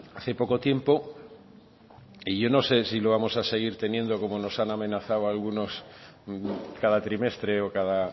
hace poco tiempo y yo no sé si lo vamos a seguir teniendo como nos han amenazado algunos cada trimestre o cada